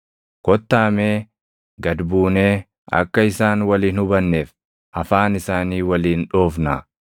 Kottaa mee gad buunee, akka isaan wal hin hubanneef afaan isaanii waliin dhoofnaa!”